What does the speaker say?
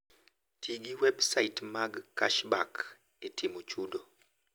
Ti gi websait mag cashback e timo chudo.